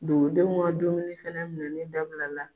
Dugudenw ka dumuni fɛnɛ minɛli dabila la